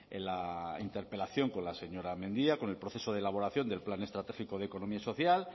en la interpelación con la señora mendia con el proceso de elaboración del plan estratégico de economía social